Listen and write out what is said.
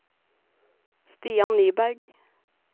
Stian Nyberg